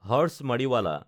Harsh Mariwala